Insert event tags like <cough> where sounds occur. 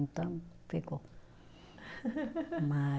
Então, ficou. <laughs> Mas